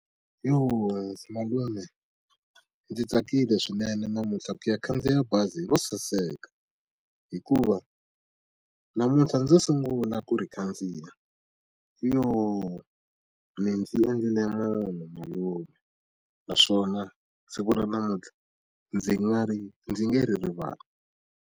Malume ndzi tsakile swinene namuntlha ku ya khandziya bazi ro saseka hikuva namuntlha ndzo sungula ku ri khandziya mi ndzi endlile munhu malume naswona siku ra namuntlha ndzi nga ri ndzi nge ri rivali.